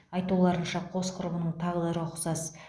айтуларынша қос құрбының тағдыры ұқсас